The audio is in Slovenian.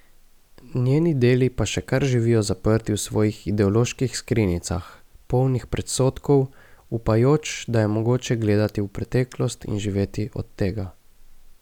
Njeni deli pa še kar živijo zaprti v svojih ideoloških skrinjicah, polnih predsodkov, upajoč, da je mogoče gledati v preteklost in živeti od tega.